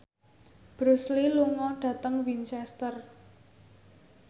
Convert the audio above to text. Bruce Lee lunga dhateng Winchester